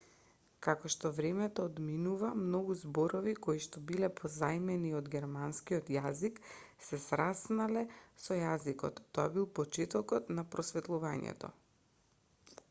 како што времето одминува многу зборови коишто биле позајмени од германскиот јазик се сраснале со јазикот тоа бил почетокот на просветлувањето